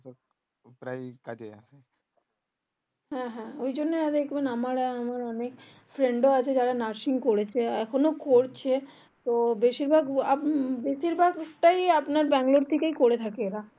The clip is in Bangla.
হ্যাঁ হ্যাঁ ওই জন্য আর দেখবেন আমার অনেক friend রা আছে যারা নার্সিং করেছে এখনো করছে তো বেশির ভাগ আপনার বেশির ভাগ টাই ব্যাঙ্গালোর থেকে করে থাকে এরা